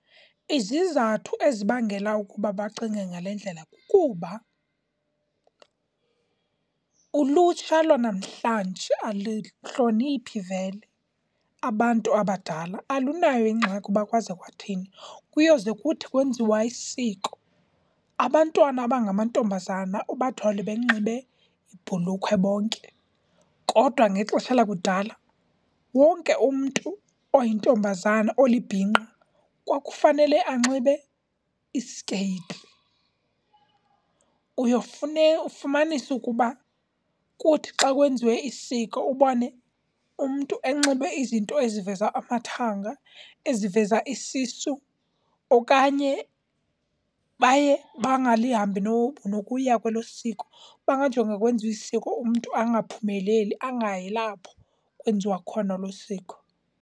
Izizathu ezibangela ukuba bacinge ngale ndlela kukuba ulutsha lwanamhlanje alihloniphe vele abantu abadala, alunayo ingxaki uba kwaza kwathini. Kuyoze kuthi kwenziwa isiko abantwana abangamantombazana ubathole benxibe ibhulukhwe bonke. Kodwa ngexesha kudala wonke umntu oyintombazana olibhinqa kwakufanele anxibe iskeyiti. Uyofumanisa ukuba kuthi xa kwenziwe isiko ubone umntu enxibe izinto eziveza amathanga, eziveza isisu okanye baye bangalihambi nokuya kwelo siko. Uba ngajonga kwenziwa isiko, umntu angaphumeleli angayi lapho kwenziwa khona elo siko.